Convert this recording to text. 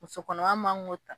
Musokɔnɔma man k'o ta